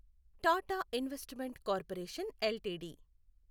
Tata investment corporation LTD